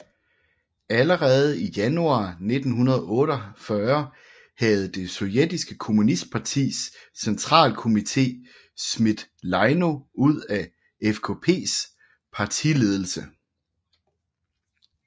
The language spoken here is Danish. Allerede i januar 1948 havde det sovjetiske kommunistpartis centralkommité smidt Leino ud af FKPs partiledelse